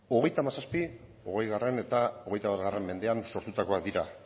hogeita hamazazpi hogei eta hogeita bat mendean sortutakoak dira